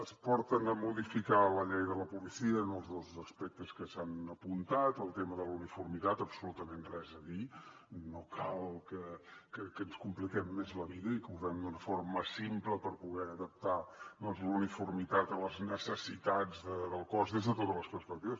ens porten a modificar la llei de la policia en els dos aspectes que s’han apuntat el tema de la uniformitat absolutament res a dir no cal que ens compliquem més la vida i que ho fem d’una forma simple per poder adaptar la uniformitat a les necessitats del cos des de totes les perspectives